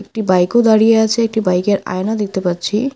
একটি বাইক -ও দাঁড়িয়ে আছে একটি বাইক -এর আয়না দেখতে পাচ্ছি।